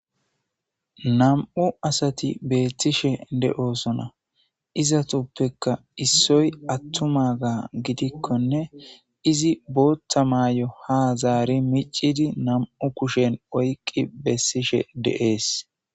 nam7u asati beettishe de7osona izatuppeka issoy attuma ga gidikkonne izi boottha maayo ha zaari micidi nam7u kushen oyqqi bessishe deees